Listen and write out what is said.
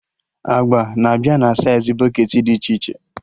Agba na-abịa na saịz bọketị dị iche iche